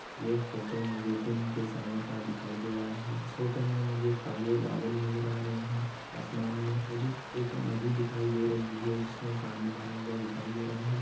यह फोटो मुझे दिन के समय का दिखाई दे रहा है इस फोटो मे मुझे काले बादल नज़र आ रहे है आसमान मे मुझे एक नदी दिखाई दे रही है इसमें पानी भरा हुआ दिखाई दे रहा है।